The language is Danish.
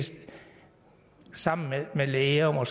sammen med læger er